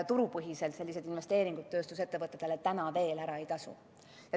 Turupõhiselt sellised investeeringud tööstusettevõtetesse täna veel ära ei tasu.